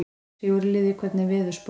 Sigurliði, hvernig er veðurspáin?